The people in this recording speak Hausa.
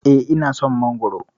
Eh, ina son Mangwaro.